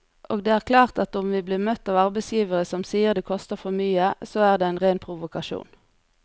Og det er klart at om vi blir møtt av arbeidsgivere som sier det koster for mye, så er det en ren provokasjon.